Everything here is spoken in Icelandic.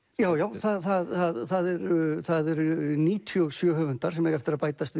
já já það eru það eru níutíu og sjö höfundar sem eiga eftir að bætast